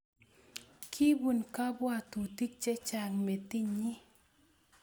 Kibun kabwatutik chechang metinyi